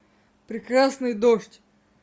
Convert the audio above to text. прекрасный дождь